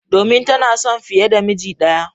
Domin tana son fiye da miji ɗaya.